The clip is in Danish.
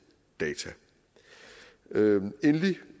data endelig